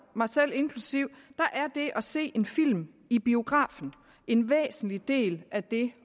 mig selv inklusive er det at se en film i biografen en væsentlig del af det